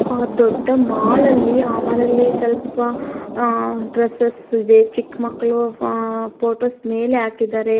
ಆ ದೊಡ್ಡ ಮಾಲ ಅಲ್ಲಿ ಅ ಮಾಲ ಅಲ್ಲಿ ಸ್ವಲ್ಪ ಅಹ್ ಡ್ರಸಸ್ ಇದೆ. ಚಿಕ್ಕ ಮಕ್ಕಳು ಅಹ್ ಫೋಟೋಸ್ ಮೇಲೆ ಹಾಕಿದ್ದಾರೆ.